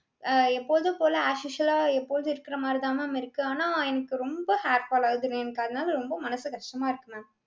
அஹ் எப்போதும்போல as usual ஆ எப்போதும் இருக்கிற மாதிரி தான் ma'am இருக்கு. ஆனா எனக்கு ரொம்ப hair fall ஆகுது mam. எனக்கு அதனால ரொம்ப மனசு கஷ்டமா இருக்கு ma'am.